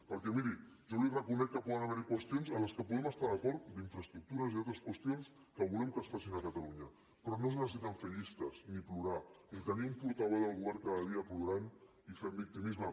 perquè miri jo li reconec que poden haver hi qüestions en què poden estar d’acord d’infraestructures i altres qüestions que volem que es facin a catalunya però no es necessita fer llistes ni plorar ni tenir un portaveu del govern cada dia plorant i fent victimisme